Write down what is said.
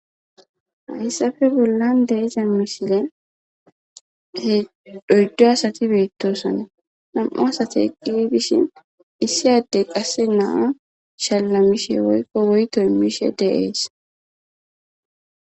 hayssafe bollan de iza mishile he dhoyddu asati beettosana nam7u asati eqi bishin issi adde qasse naa shallamishe woykko woytoy mishe deees